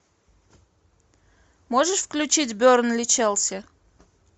можешь включить бернли челси